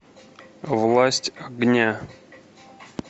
власть огня